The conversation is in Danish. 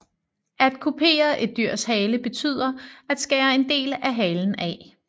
At kupere et dyrs hale betyder at skære en del af halen af